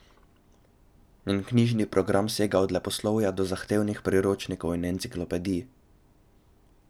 Njen knjižni program sega od leposlovja do zahtevnih priročnikov in enciklopedij.